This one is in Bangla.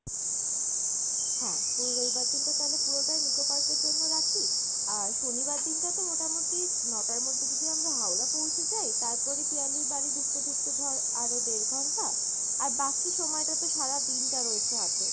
হ্যাঁ, পুরো রবিবার দিন টা তালে পুরোটাই Nicco Park এর জন্য রাখি, আর শনিবার দিন টা তো মোটামোটি ন-টার মধ্যে যদি আমরা হাওড়া পৌঁছে যায় তারপরে পিয়ালির বাড়ি ঢুকতে ঢুকতে ধর আরো দের ঘন্টা, আর বাকি সময়টা তো সারা দিন টা রয়েছে হাতে,